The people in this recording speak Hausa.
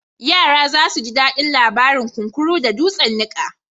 Yara za su ji daɗin labarin kunkuru da dutsen niƙa.